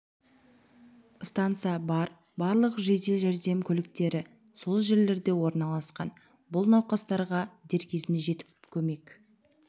станса бар барлық жедел жәрдем көліктері сол жерлерде орналасқан бұл науқастарға дер кезінде жетіп көмек